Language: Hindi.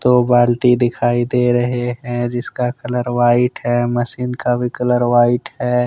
दो बाल्टी दिखाई दे रहे हैं जिसका कलर व्हाइट है मशीन का कलर भी व्हाइट है।